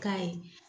K'a ye